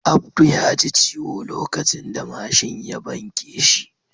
Abdu ya ji ciwo lokacin da mashin ya banke shi.